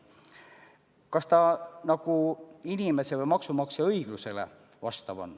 Kas see nagu vastab inimese või maksumaksja õiglustundele?